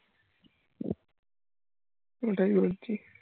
ওটাই বলছি